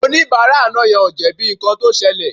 Oníbàárà àná yẹn ò jẹ̀bi nǹkan tó ṣẹlẹ̀